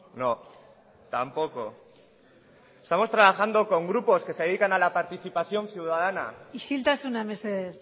no tampoco estamos trabajando con grupos que se dedican a la participación ciudadana isiltasuna mesedez